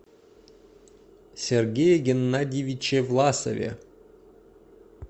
сергее геннадьевиче власове